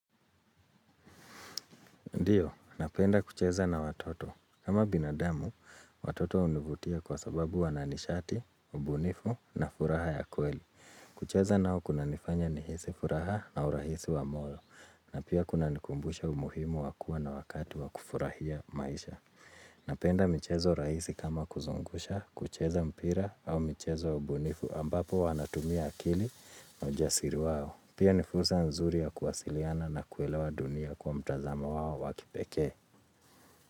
Ndiyo, napenda kucheza na watoto. Kama binadamu, watoto hunivutia kwa sababu wana nishati, ubunifu na furaha ya kweli. Kucheza nao kunanifanya nihisi furaha na urahisi wa moyo. Na pia kuna nikumbusha umuhimu wa kuwa na wakati wa kufurahia maisha. Napenda mchezo rahisi kama kuzungusha, kucheza mpira au michezo ya ubunifu ambapo wanatumia akili na ujasiri wao. Pia nifursa nzuri ya kuwasiliana na kuelewa dunia kwa mtazama wao wa kipekee.